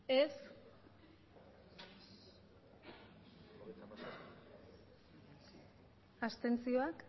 aurkako botoak abstentzioak